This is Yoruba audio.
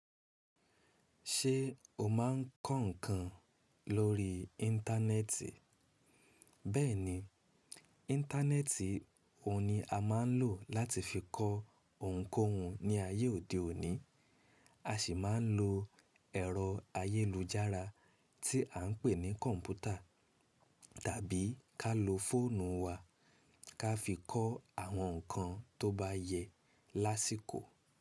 Ṣé o máa'ń kọ ǹkan lórí Íńtánẹẹtì? Bẹ́ẹ̀ni, Íńtánẹẹtì òun ni a máa ń lò láti fi kọ ohunkóhun ní ayé òdẹ́ òní, a sì máa ń lo ẹ̀rọ ayélujára tí à ń pè ní kọ̀mpútà tàbí ká lo fóònù wa ká fi kọ́ àwọn ǹkan tó bá yẹ lásìkò.